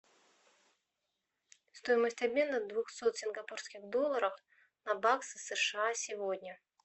стоимость обмена двухсот сингапурских долларов на баксы сша сегодня